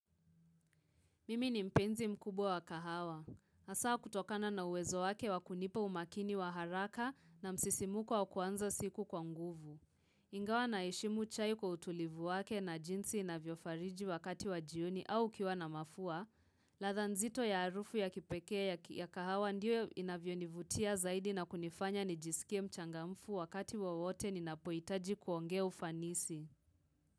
Mimi ni mpenzi mkubwa wa kahawa. Hasaa kutokana na uwezo wake wa kunipa umakini wa haraka na msisimuko wa kuanza siku kwa nguvu. Ingawa naheshimu chai kwa utulivu wake na jinsi inavyofariji wakati wa jioni au ukiwa na mafua ladha nzito ya harufu ya kipekee ya kahawa ndio inavyonivutia zaidi na kunifanya nijiskie mchangamfu wakati wowote ninapohitaji kuongea ufanisi.